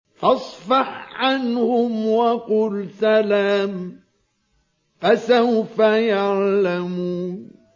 فَاصْفَحْ عَنْهُمْ وَقُلْ سَلَامٌ ۚ فَسَوْفَ يَعْلَمُونَ